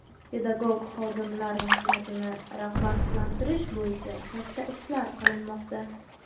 Pedagog xodimlar mehnatini rag‘batlantirish bo‘yicha katta ishlar qilinmoqda.